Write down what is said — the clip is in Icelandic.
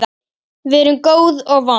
Við erum góð og vond.